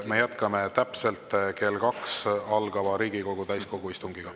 Me jätkame täpselt kell 2 algava Riigikogu täiskogu istungiga.